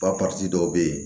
Ba dɔw bɛ yen